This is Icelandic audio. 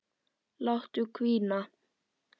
Láta hvína.